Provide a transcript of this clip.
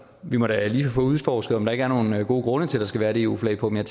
vi må da lige få udforsket om der ikke er nogen gode grunde til at der skal være et eu flag på men